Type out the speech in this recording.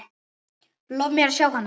Lof mér að sjá hana